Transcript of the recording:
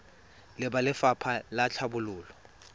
le ba lefapha la tlhabololo